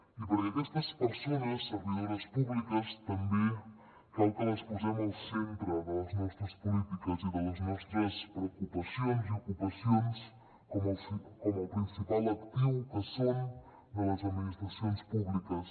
i perquè aquestes persones servidores públiques també cal que les posem al centre de les nostres polítiques i de les nostres preocupacions i ocupacions com el principal actiu que són de les administracions públiques